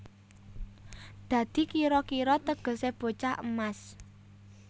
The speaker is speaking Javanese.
Dadi kira kira tegesé bocah emas